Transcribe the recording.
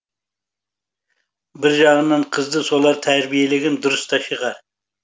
бір жағынан қызды солар тәрбиелеген дұрыста шығар